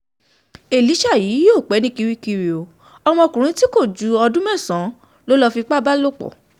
ó mà ṣe o ìyá pasuma onífọ́fì kú lójijì